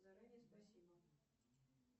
заранее спасибо